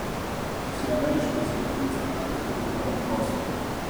Ko si ameriška zvezdnica, je to ogromen posel.